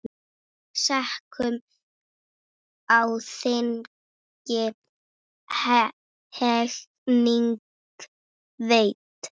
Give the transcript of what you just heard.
Sekum á þingi hegning veitt.